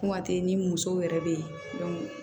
Kuma tɛ ni muso yɛrɛ bɛ yen